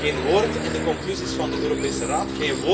Geen woord in de conclusies van de Europese Raad.